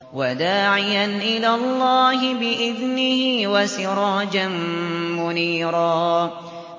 وَدَاعِيًا إِلَى اللَّهِ بِإِذْنِهِ وَسِرَاجًا مُّنِيرًا